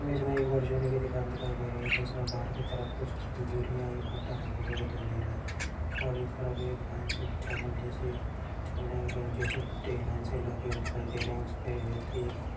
इस इमेज में एक परचूनी की दुकान दिखाई दे रही है जिसमें बाहर की तरफ कुछ बोरियां एक कट्टा रखा हुआ दिखाई दे रहा है और इस तरफ एक लाइन से चावल जैसे चावल और गेहूँ जैसे कट्टे लाइन से लगे हुए दिखाई दे रहे हैं। उस पर एक व्यक्ति --